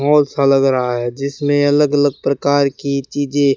और मॉल सा लग रहा है जिसमें अलग अलग प्रकार की चीजे--